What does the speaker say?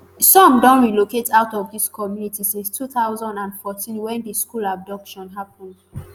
some don relocate out of dis community since two thousand and fourteen wen di school abduction happen